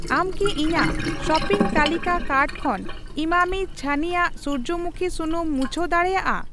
ᱟᱢ ᱠᱤ ᱤᱧᱟᱜ ᱥᱚᱯᱤᱝ ᱛᱟᱹᱞᱤᱠᱟ ᱠᱟᱨᱴ ᱠᱷᱚᱱ ᱤᱢᱟᱢᱤ ᱪᱷᱟᱱᱤᱭᱟᱜ ᱥᱩᱨᱡᱚᱢᱩᱠᱷᱤ ᱥᱩᱱᱩᱢ ᱢᱩᱪᱷᱟᱣ ᱫᱟᱲᱮᱭᱟᱜᱼᱟ ᱾